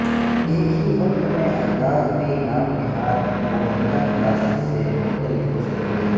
ایک ہی وقت میں انداز بھی نام نہاد بوہینیا کلاسک سے مختلف ہو سکتے ہیں